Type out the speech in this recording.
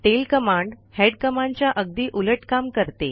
tail command head कमांडच्या अगदी उलट काम करते